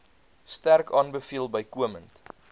sterk aanbeveel bykomend